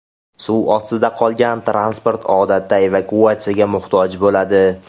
Suv ostida qolgan transport odatda evakuatsiyaga muhtoj bo‘ladi.